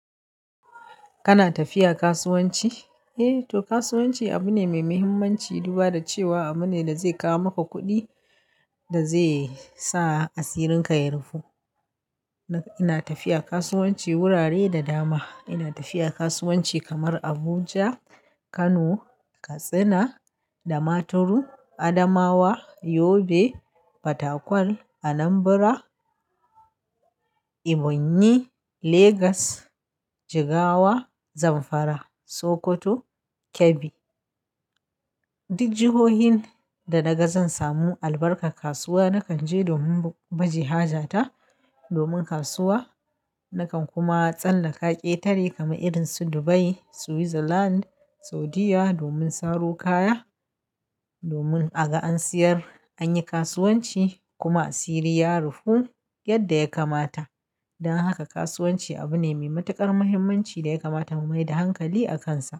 Kana tafiya kasuwanci? Eh to kasuwanci abu ne mai muhimmanci. Duba da cewa abu ne da zai kawo maka kuɗi da zai sa asirinka ya rufu. Ina tafiya kasuwanci wurare da dama. Ina tafiya kasuwanci kamar Abuja, Kano, Katsina, Damaturu, Adamawa, Yobe, Fatakwal, Anambra, Ebonyi, Legas, Jigawa, Zamfara, Sokoto, Kebbi. Duk jihohin da naga zan samu albarkar kasuwa nakan je domin baje haja ta. Domin kasuwa, nakan kuma tsallaka ƙetare kamar irin su Dubai, Switzerland, Saudiyya domin saro kaya. Domin a ga an siyar, an yi kasuwanci kuma asiri ya rufu yadda ya kamata. Don haka kasuwanci abu ne mai matuƙar muhimmanci da ya kamata mu maida hankali a kansa.